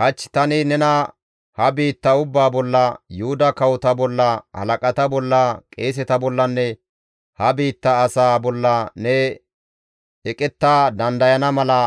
«Hach tani nena ha biitta ubbaa bolla, Yuhuda kawota bolla, halaqata bolla, qeeseta bollanne ha biitta asaa bolla ne eqetta dandayana mala